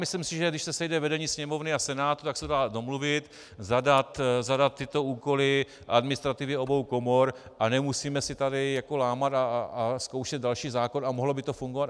Myslím si, že když se sejde vedení Sněmovny a Senátu, tak se dá domluvit, zadat tyto úkoly administrativě obou komor, a nemusíme si tady lámat a zkoušet další zákon a mohlo by to fungovat.